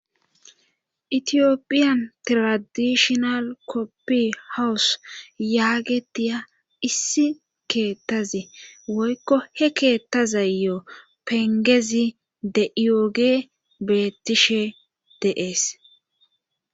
itiyopiyan tradishonal koppi hawus yaagetiya issi keettazi woykko he keettazayo pengezi de ioge beettishe deees